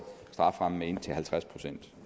strafferammen med indtil halvtreds procent